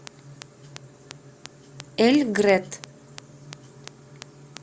эльгрет